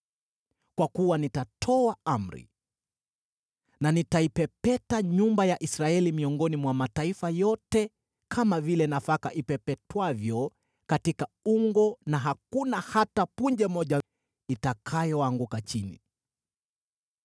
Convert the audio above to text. “Kwa kuwa nitatoa amri, na nitaipepeta nyumba ya Israeli miongoni mwa mataifa yote, kama vile nafaka ipepetwavyo katika ungo, na hakuna hata punje moja itakayoanguka chini.